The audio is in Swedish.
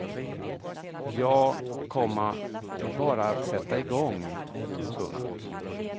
Ja, komma det är bara att sätta i gång. punkt